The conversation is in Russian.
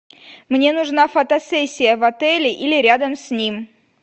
мне нужна фотосессия в отеле или рядом с ним